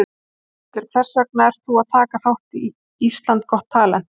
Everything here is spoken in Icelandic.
Þórhildur: Hvers vegna ert þú að taka þátt í Ísland got talent?